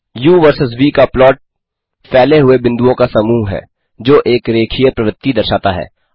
उ वर्सस व का प्लॉट फैले हुए बिन्दुओं का समूह है जो एक रेखीय प्रवृत्ति दर्शाता है